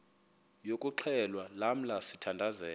yokuxhelwa lamla sithandazel